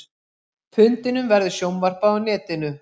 Fundinum verður sjónvarpað á netinu